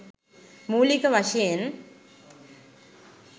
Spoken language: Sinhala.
මූළික වශයෙන්